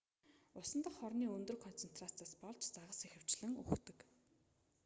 усан дахь хорны өндөр концентрацаас болж загас ихэвчлэн үхдэг